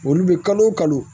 Olu bɛ kalo o kalo